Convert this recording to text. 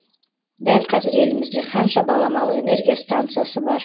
дәл қазір елімізде қанша баламалы энергия станциясы бар